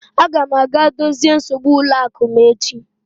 Aga m aga dozie nsogbu ụlọ akụ m echi.